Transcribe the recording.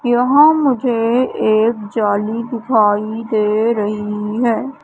यहां मुझे एक जाली दिखाई दे रही है।